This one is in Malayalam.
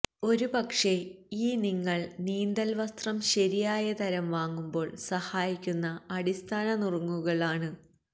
ഒരുപക്ഷേ ഈ നിങ്ങൾ നീന്തൽവസ്ത്രം ശരിയായ തരം വാങ്ങുമ്പോൾ സഹായിക്കുന്ന അടിസ്ഥാന നുറുങ്ങുകൾ ആണ്